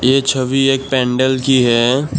ये छवि एक पेंडल की है।